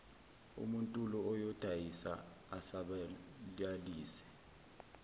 umuntul oyodayisa asabalalise